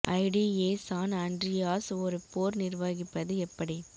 G T A San Andreas ஒரு போர் நிர்வகிப்பது எப்படி